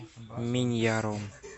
миньяром